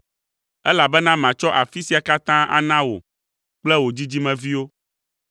elabena matsɔ afi sia katã ana wò kple wò dzidzimeviwo.